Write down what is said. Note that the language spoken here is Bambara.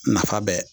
Nafa bɛɛ